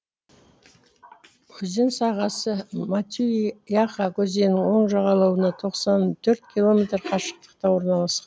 өзен сағасы матюй яха өзенінің оң жағалауынан тоқсан төрт километр қашықтықта орналасқан